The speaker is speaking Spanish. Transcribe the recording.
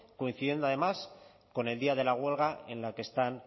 coincidiendo además con el día de la huelga en la que están